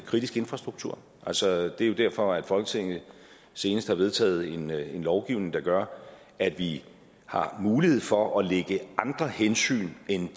kritisk infrastruktur altså det er jo derfor at folketinget senest har vedtaget en lovgivning der gør at vi har mulighed for at lægge andre hensyn end